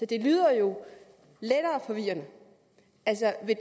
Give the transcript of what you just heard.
det lyder jo lettere forvirrende altså vil